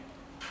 Gəncə.